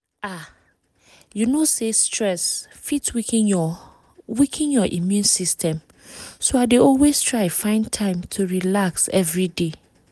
ah you know say stress fit weaken your weaken your immune system so i dey always try find time to relax every day